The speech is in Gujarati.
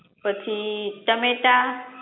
પછી ટમેટા